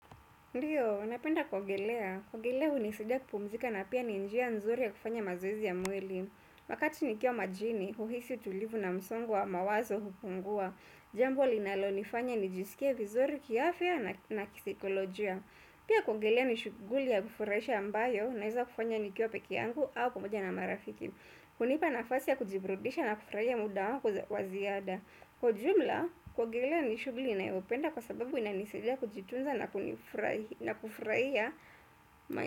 Ndiyo, napenda kuogelea. Kuogelea unisaidia kupumzika na pia ni njia nzuri ya kufanya mazoezi ya mwili. Wakati nikiwa majini, uhisi utulivu na msongo wa mawazo hupungua. Jambo linalo nifanya nijisikie vizuri kiafya na kisaikolojia. Pia kuogelea nishughuli ya kufurahisha ambayo naeza kufanya nikiwa peke yangu au pamoja na marafiki. Hunipa nafasi ya kujiburudisha na kufurahia muda wako waziada. Kwa ujumla, kuogelelea nishuguli ninayopenda kwa sababu inanisaidia kujitunza na kufraia maisha.